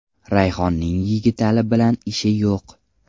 Rayhonning Yigitali bilan ishi yo‘q.